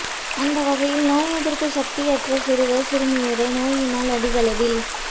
ஆந்த வகையில் நோய் எதிர்ப்பு சக்தியற்ற சிறுவர் சிறுமியரே நோயினால் அதிகளவில்